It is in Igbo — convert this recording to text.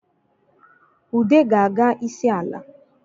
Ude ga-aga isi ala